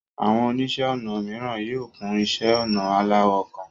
Àwọn oníṣẹ́ ọnà mìíràn yóò kún iṣẹ́ ọnà aláwọ̀ kan.